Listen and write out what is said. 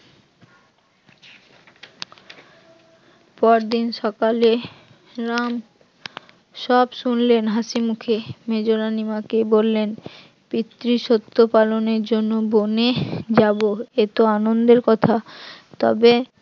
পরদিন সকালে রাম সব শুনলেন হাসিমুখে, মেজরানি মা কে বললেন পিতৃ শর্ত পালনের জন্য বনে যাব এত আনন্দের কথা তবে